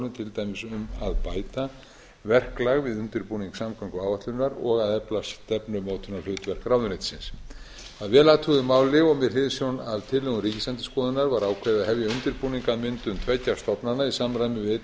til dæmis um að bæta verklag við undirbúning samgönguáætlunar og að efla stefnumótunarhlutverk ráðuneytisins að vel athuguðu máli og með hliðsjón af tillögum ríkisendurskoðunar var ákveðið að hefja undirbúning að myndun tveggja stofnana í samræmi við